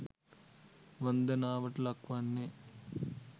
වන්දනාවට ලක් වන්නේ